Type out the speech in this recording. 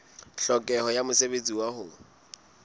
tlhokeho ya mosebetsi wa ho